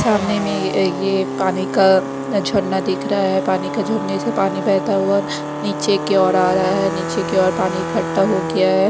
सामने मे ये पानी का झरना दिख रहा है। पानी का झरने से पानी बहता हुआ नीचे की ओर आ रहा है नीचे की ओर पानी खट्टा हो गया है।